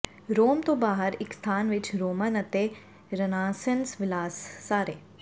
ਰੋਮ ਤੋਂ ਬਾਹਰ ਇੱਕ ਸਥਾਨ ਵਿੱਚ ਰੋਮਨ ਅਤੇ ਰੇਨਾਸੈਂਸ ਵਿਲਾਸ ਸਾਰੇ